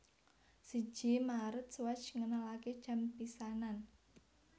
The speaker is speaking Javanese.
Siji Maret Swatch ngenalaké jam pisanan